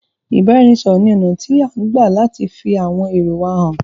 Ìbáranisọ̀rọ̀ ní ọ̀nà tí à ń gbà láti fi àwọn èrò wa hàn.